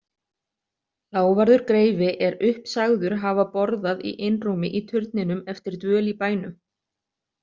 Lávarður greifi er upp sagður hafa borðað í einrúmi í turninum eftir dvöl í bænum.